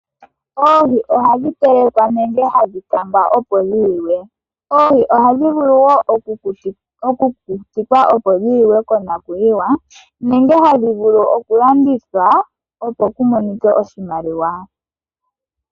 Oohi ohadhi telekwa nenge hadhi kangwa opo dhi liwe. Oohi ohadhi vulu woo oku kukutikwa opo dhi liwe konakuyiwa nenge hadhi vulu oku landithwa opo ku monikwe oshimaliwa.